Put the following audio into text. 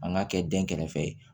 An k'a kɛ den kɛrɛfɛ ye